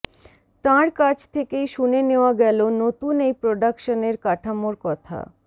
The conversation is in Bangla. তাঁর কাছ থেকেই শুনে নেওয়া গেল নতুন এই প্রোডাকশনের কাঠামোর কথা